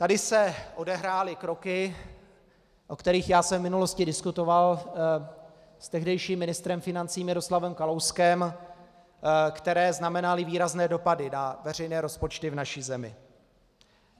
Tady se odehrály kroky, o kterých já jsem v minulosti diskutoval s tehdejším ministrem financí Miroslavem Kalouskem, které znamenaly výrazné dopady na veřejné rozpočty v naší zemi.